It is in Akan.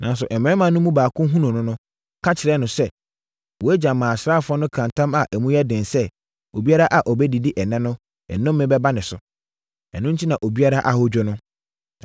Nanso, mmarima no mu baako hunuu no, ka kyerɛɛ no sɛ, “Wʼagya maa asraafoɔ no kaa ntam a emu yɛ den sɛ, obiara a ɔbɛdidi ɛnnɛ no, nnome bɛba ne so. Ɛno enti, na obiara ahodwo no.”